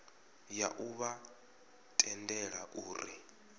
ya u vha tendela uri